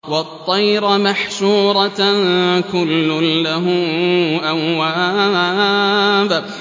وَالطَّيْرَ مَحْشُورَةً ۖ كُلٌّ لَّهُ أَوَّابٌ